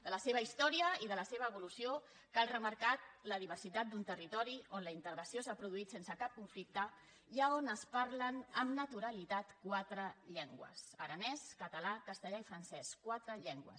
de la seva història i de la seva evolució cal remarcar la diversitat d’un territori on la integració s’ha produït sense cap conflicte i on es parlen amb naturalitat quatre llengües aranès català castellà i francès quatre llengües